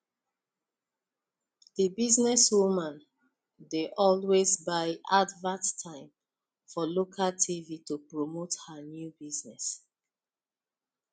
the businesswoman dey always buy advert time for local tv to promote her new business